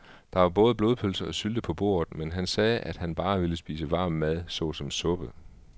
Der var både blodpølse og sylte på bordet, men han sagde, at han bare ville spise varm mad såsom suppe.